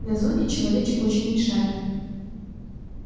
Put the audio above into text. на зоне человечек очень мешает